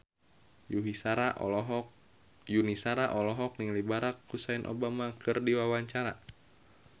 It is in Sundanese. Yuni Shara olohok ningali Barack Hussein Obama keur diwawancara